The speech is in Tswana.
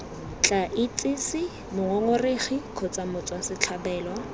tla itsise mongongoregi kgotsa motswasetlhabelo